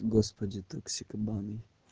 господи токсикоманы